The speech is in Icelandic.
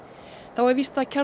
þá er víst að